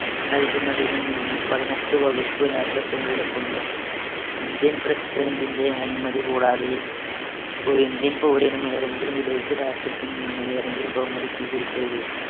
നൽകുന്നതിൽ നിന്ന് പതിനെട്ട് വകുപ്പ് രാഷ്ട്രത്തിനെ വിലക്കുന്നു. ഇന്ത്യൻ president ന്‍റെ അനുമതികൂടാതെ ഒരു ഇന്ത്യൻ പൗരനും ഏതെങ്കിലും വിദേശരാഷ്ട്രത്തിൽനിന്ന് ഏതെങ്കിലും ബഹുമതി സ്വീകരിക്കരുത്.